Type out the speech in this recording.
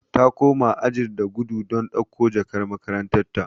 Ta koma ajin da gudu don dauko jakar makaranta.